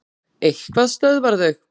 Eitthvað stöðvar þau.